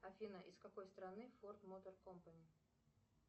афина из какой страны форд мотор компани